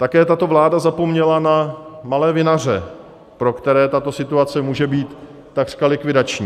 Také tato vláda zapomněla na malé vinaře, pro které tato situace může být takřka likvidační.